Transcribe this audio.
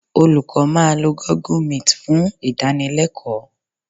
Olùkọ́ máa lo Google meet fún ìdánilẹ́kọ̀ọ́